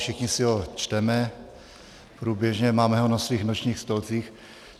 Všichni si ho čteme, průběžně, máme ho na svých nočních stolcích.